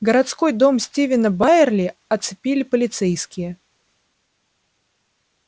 городской дом стивена байерли оцепили полицейские